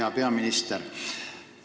Hea peaminister!